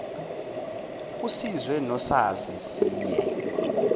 usizwe nosazi siye